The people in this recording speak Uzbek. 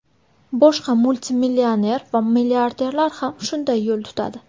Boshqa multimillioner va milliarderlar ham shunday yo‘l tutadi.